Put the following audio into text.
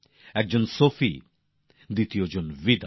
একজন সোফি আরেকজন বিদা